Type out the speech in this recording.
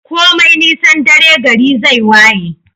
komai nisan dare gari zai waye